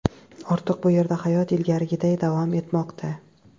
Ortiq bu yerda hayot ilgarigiday davom etmoqda.